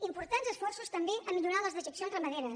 importants esforços també a millorar les dejeccions ramaderes